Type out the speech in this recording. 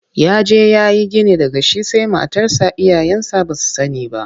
Ya je ya yi gini daga shi sai matarsa iyayensa ba su sani ba.